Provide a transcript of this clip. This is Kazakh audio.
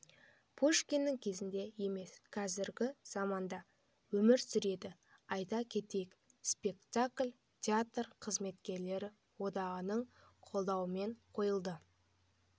пушкиннің кезінде емес қазіргі заманда өмір сүреді айта кетейік спектакль театр қызметкерлері одағының қолдауымен қойылды